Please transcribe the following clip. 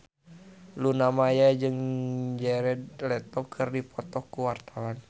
Luna Maya jeung Jared Leto keur dipoto ku wartawan